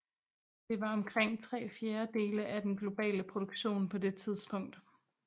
Det var omkring tre fjerdedele af den globale produktion på det tidspunkt